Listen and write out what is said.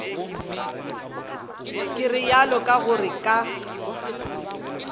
ke realo ka gore ka